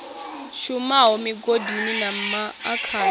shumaho migodini na ma akani